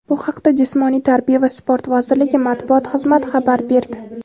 Bu haqda Jismoniy tarbiya va sport vazirligi Matbuot xizmati xabar berdi.